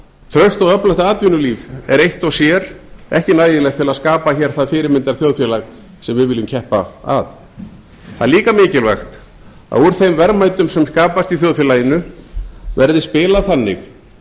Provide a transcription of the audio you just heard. traust og öflugt atvinnulíf er eitt og sér ekki nægilegt til að skapa hér það fyrirmyndarþjóðfélag sem við viljum keppa að það er líka mikilvægt að úr þeim verðmætum sem skapast í þjóðfélaginu verði spilað þannig